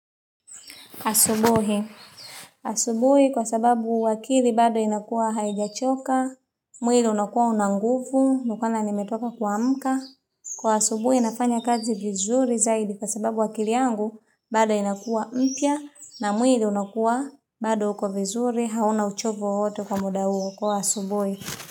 Asubuhi kwa sababu akili bado inakuwa haijachoka, mwili unakuwa una nguvu na kwana nimetoka kuamka. Kwa asubuhi nafanya kazi vizuri zaidi kwa sababu akili yangu bado inakuwa mpya na mwili unakuwa bado uko vizuri hauna uchovu wowote kwa muda huo wa asubuhi.